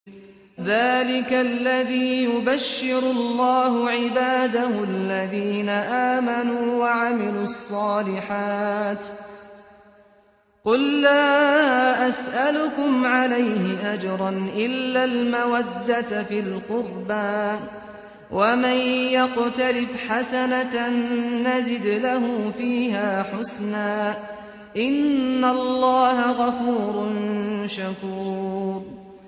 ذَٰلِكَ الَّذِي يُبَشِّرُ اللَّهُ عِبَادَهُ الَّذِينَ آمَنُوا وَعَمِلُوا الصَّالِحَاتِ ۗ قُل لَّا أَسْأَلُكُمْ عَلَيْهِ أَجْرًا إِلَّا الْمَوَدَّةَ فِي الْقُرْبَىٰ ۗ وَمَن يَقْتَرِفْ حَسَنَةً نَّزِدْ لَهُ فِيهَا حُسْنًا ۚ إِنَّ اللَّهَ غَفُورٌ شَكُورٌ